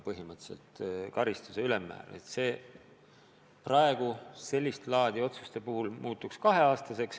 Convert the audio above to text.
Nüüd sellist laadi otsuste puhul põhimõtteliselt karistuse ülemmäär tõuseb, see saab olema kaks aastat.